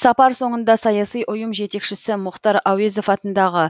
сапар соңында саяси ұйым жетекшісі мұхтар әуезов атындағы